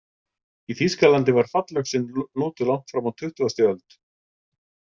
Í Þýskalandi var fallöxin notuð langt fram á tuttugasti öld.